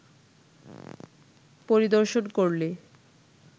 পরিদর্শন করলে